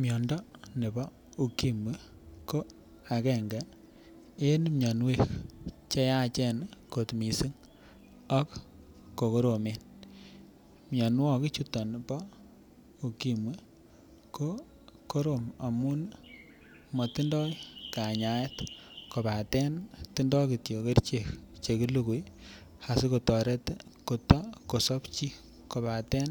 Miondo nebo Ukimwi ko agenge en mionwok cheyache kot missing' ak ko koromen, mionwokik chuton bo Ukimwi ko korom amun motindoi kayanet kopaten tindo kityok kerichek chelukui asikotoret koto kosob chii kopaten